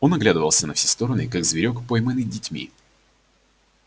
он оглядывался на все стороны как зверок пойманный детьми